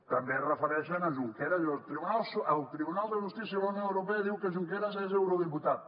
també es refereixen a junqueras diu el tribunal de justícia de la unió europea diu que junqueras és eurodiputat